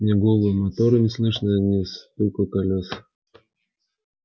ни гула мотора не слышно ни стука колёс